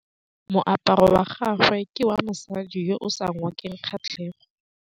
Moaparô wa gagwe ke wa mosadi yo o sa ngôkeng kgatlhegô.